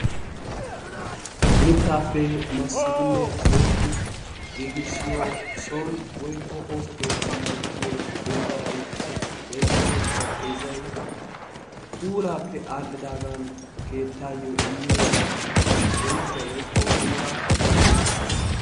Mitaappe masidinne pooxidi giigissiyo son woykko ooso keettan uttiyo wombaray woykko xarapheezzay puulaappe aadhidaagan keettaayo immiyo bonchuwa woykko puulaa keehippe darisees.